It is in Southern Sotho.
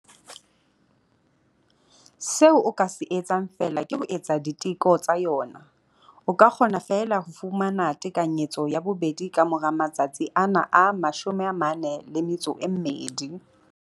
Seo o ka se etsang feela ke ho etsa diteko tsa yona. O ka kgona feela ho fumana tekanyetso ya bobedi ka mora matsatsi ana a 42.